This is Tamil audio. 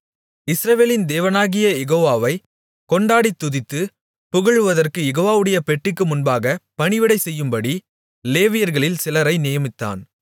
இஸ்ரவேலின் தேவனாகிய யெகோவாவைக் கொண்டாடித் துதித்துப் புகழுவதற்குக் யெகோவாவுடைய பெட்டிக்கு முன்பாகப் பணிவிடை செய்யும்படி லேவியர்களில் சிலரை நியமித்தான்